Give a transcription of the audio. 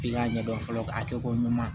F'i k'a ɲɛdɔn fɔlɔ a kɛko ɲuman ye